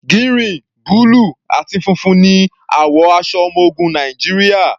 Gírìn, búlù àti funfun ní àwọ̀ aṣọ ọmọ ogun Nàìjíríà.